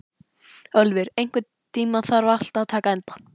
Ölvir, einhvern tímann þarf allt að taka enda.